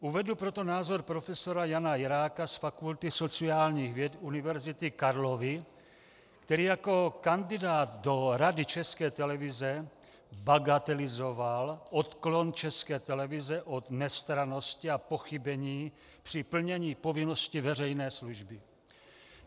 Uvedu proto názor profesora Jana Jiráka z Fakulty sociálních věd Univerzity Karlovy, který jako kandidát do Rady České televize bagatelizoval odklon České televize od nestrannosti a pochybení při plnění povinnosti veřejné služby.